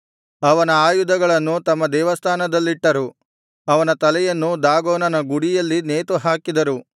ಅವನ ಆಯುಧಗಳನ್ನು ತಮ್ಮ ದೇವಸ್ಥಾನದಲ್ಲಿಟ್ಟರು ಅವನ ತಲೆಯನ್ನು ದಾಗೋನನ ಗುಡಿಯಲ್ಲಿ ನೇತುಹಾಕಿದರು